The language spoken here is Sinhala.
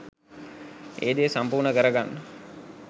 ඒ දේ සම්පූර්ණ කරගන්න